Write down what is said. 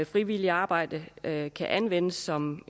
frivilligt arbejde kan kan anvendes som